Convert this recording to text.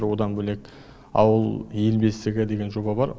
одан бөлек ауыл ел бесігі деген жоба бар